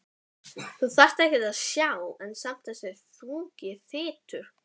Ekkert að sjá en samt þessi þungi þytur.